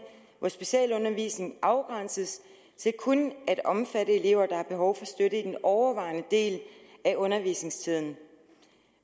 hvor specialundervisning afgrænses til kun at omfatte elever der har behov for støtte i den overvejende del af undervisningstiden